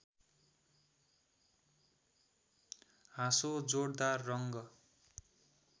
हाँसो जोडदार रङ्ग